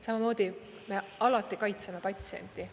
Samamoodi me alati kaitseme patsienti.